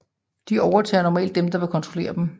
De overtager normalt dem der vil kontrollere dem